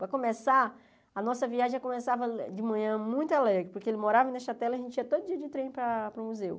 Para começar, a nossa viagem já começava de manhã muito alegre, porque ele morava em Nechatela e a gente ia todo dia de trem para para o museu.